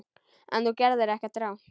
En þú gerðir ekkert rangt.